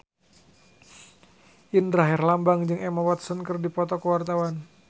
Indra Herlambang jeung Emma Watson keur dipoto ku wartawan